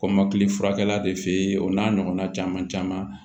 Kɔmɔkili furakɛ la de fe o n'a ɲɔgɔnna caman caman